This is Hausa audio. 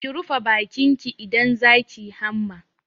Ki rufe bakin ki idan za ki yi hamma!